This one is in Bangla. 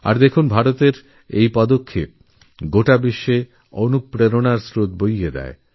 আর দেখুন ভারতের এই পদক্ষেপ এরপর থেকে সব দেশগুলির কাছে প্রেরণা হয়ে উঠল